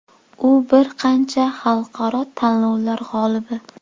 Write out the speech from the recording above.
U bir qancha xalqaro tanlovlar g‘olibi.